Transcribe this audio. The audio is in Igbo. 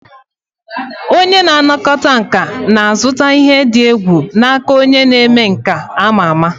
Onye na-anakọta nka na-azụta ihe dị egwu n'aka onye omenkà ama ama.